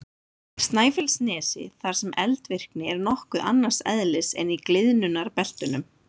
Snæfellsnesi þar sem eldvirkni er nokkuð annars eðlis en í gliðnunarbeltunum.